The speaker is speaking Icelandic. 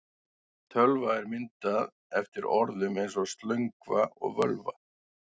Tölva er myndað eftir orðum eins og slöngva og völva.